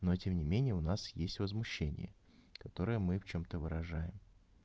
но тем не менее у нас есть возмущение которое мы в чём-то выражаем